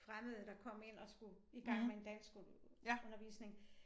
Fremmede der kom ind og skulle i gang med en danskundervisning